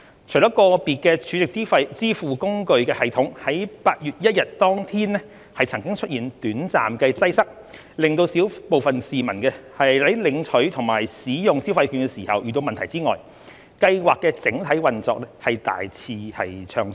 除了個別儲值支付工具的系統在8月1日當天曾經出現短暫擠塞，令小部分市民在領取和使用消費券時遇到問題外，計劃的整體運作大致暢順。